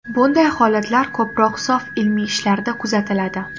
Bunday holatlar ko‘proq sof ilmiy ishlarda kuzatiladi.